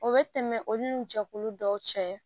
O bɛ tɛmɛ olu ni jɛkulu dɔw cɛ